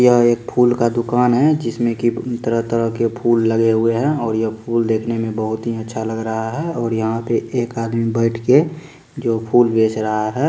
यह एक फूल का दुकान है जिसमें की तरह-तरह के फूल लगे हुए हैं और ये फूल देखने में बहुत ही अच्छा लग रहा है और यहाँ पे एक आदमी बैठ के जो फूल बेच रहा है।